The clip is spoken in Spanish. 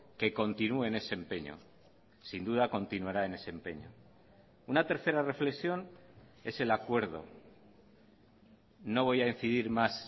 que continúe en ese empeño sin duda continuará en ese empeño una tercera reflexión es el acuerdo no voy a incidir más